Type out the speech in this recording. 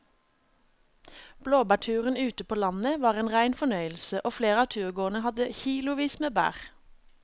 Blåbærturen ute på landet var en rein fornøyelse og flere av turgåerene hadde kilosvis med bær.